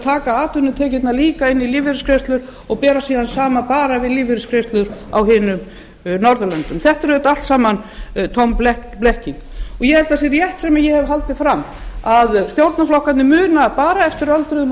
taka atvinnutekjurnar inn í lífeyrisgreiðslurnar og bera síðan saman við lífeyrisgreiðslur eingöngu á öðrum norðurlöndum þetta er auðvitað allt saman tóm blekking ég held að það sé rétt sem ég hef haldið fram að stjórnarflokkarnir muna bara eftir öldruðum og lífeyrisþegum